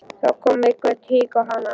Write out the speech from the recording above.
Þá kom eitthvert hik á hana.